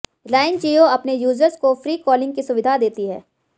रिलायंस जियो अपने यूज़र्स को free calling की सुविधा देती है